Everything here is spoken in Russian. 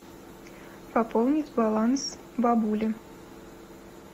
пополнить баланс бабули